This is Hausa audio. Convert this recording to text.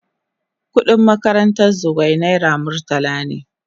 Kudin makarantan Zugwai naira murtala ne.